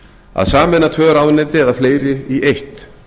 að sameina tvö ráðuneyti eða fleiri í eitt